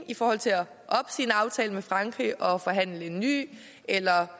i forhold til at opsige en aftale med frankrig og forhandle en ny eller